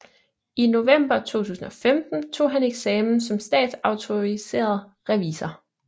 I november 2015 tog han eksamen som statsautoriseret revisor